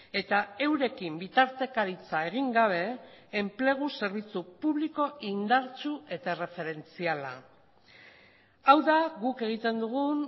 eta eurekin bitartekaritza egin gabe enplegu zerbitzu publiko indartsu eta erreferentziala hau da guk egiten dugun